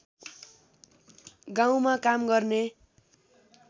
गाउँमा काम गर्ने